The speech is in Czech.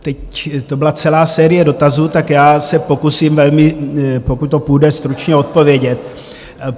Teď to byla celá série dotazů, tak já se pokusím velmi - pokud to půjde - stručně odpovědět.